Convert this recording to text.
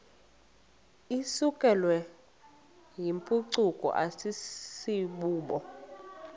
isukelwayo yimpucuko asibubo